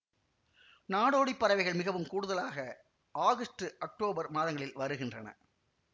நாடோடிப் பறவைகள் மிகவும் கூடுதலாக ஆகஸ்டு அக்டோபர் மாதங்களில் வருகின்றன